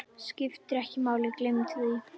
Skiptir ekki máli, gleymdu því.